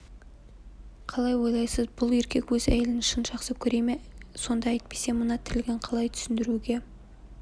қалай ойлайсыз бұл еркек өз әйелін шын жақсы көре ме сонда әйтпесе мына тірлігін қалай түсіндіруге